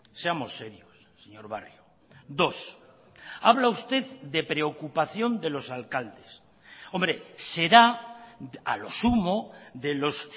seamos serios señor barrio dos habla usted de preocupación de los alcaldes hombre será a lo sumo de los